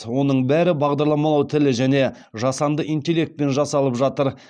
оның бәрі бағдарламалау тілі және жасанды интеллектпен жасалып жатыр